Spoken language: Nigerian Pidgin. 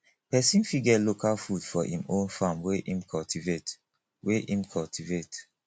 pesin fit get local food for im own farm wey him cultivate wey him cultivate